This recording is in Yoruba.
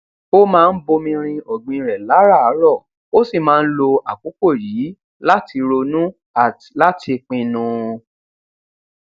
ó máa ń bomi rin ọgbìn rẹ láràárọ ó sì máa ń lo àkókò yìí láti ronú at láti pinnu